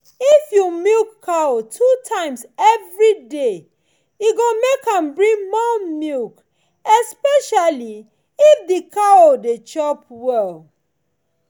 if you milk cow two times every day e go make am bring more milk especially if the cow dey chop well